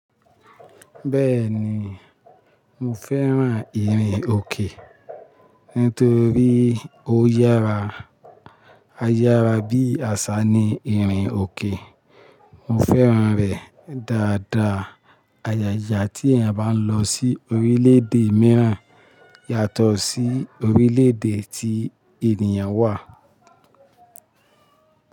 Bẹ́ẹ̀ni, mo fẹ́ran ìrìnòkè, nítorí ó yára. Ayára bí àṣá ni ìrìnòkè. Mo fẹ́ran rẹ̀ dáadáa. Agaga tí èèyàn bá ń lọ sí orílẹ̀-èdè mìíràn yàtọ̀ sí orílẹ̀-èdè tí ènìyàn wà.